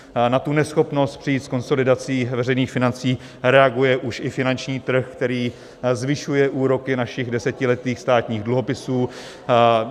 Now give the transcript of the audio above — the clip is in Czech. Na tu neschopnost přijít s konsolidací veřejných financí reaguje už i finanční trh, který zvyšuje úroky našich desetiletých státních dluhopisů.